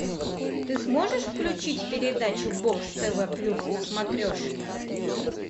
ты сможешь включить передачу бокс тв плюс на смотрешке